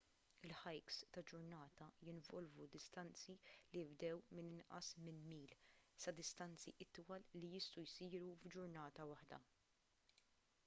il-hikes ta' ġurnata jinvolvu distanzi li jibdew minn inqas minn mil sa distanzi itwal li jistgħu jsiru f'ġurnata waħda